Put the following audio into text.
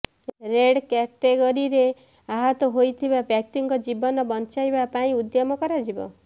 red କ୍ୟାଟେଗରିରେ ଆହତ ହୋଇଥିବା ବ୍ୟକ୍ତିଙ୍କ ଜୀବନ ବଞ୍ଚାଇବା ପାଇଁ ଉଦ୍ୟମ କରାଯିବ